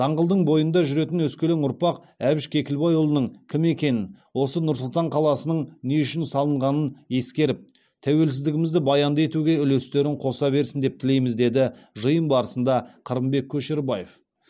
даңғылдың бойында жүретін өскелең ұрпақ әбіш кекілбайұлының кім екенін осы нұр сұлтан қаласының не үшін салынғанын ескеріп тәуелсіздігімізді баянды етуге үлестерін қоса берсін деп тілейміз деді жиын барысында қырымбек көшербаев